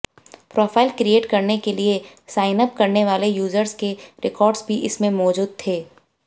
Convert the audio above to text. profile create करने के लिए साइनअप करने वाले यूजर्स के रिकॉर्ड्स भी इसमें मौजूद थे